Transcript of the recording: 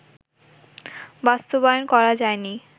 বাস্তবায়ন করা যায়নি